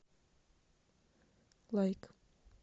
лайк